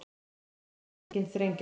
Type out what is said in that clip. Segja hringinn þrengjast